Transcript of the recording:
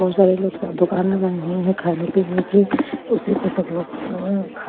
बहुत सारे लोग सब दुकान लगाए हुए हैं खाने पीने की उसी पर सब लोग--